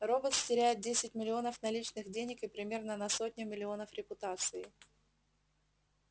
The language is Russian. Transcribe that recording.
роботс теряет десять миллионов наличных денег и примерно на сотню миллионов репутации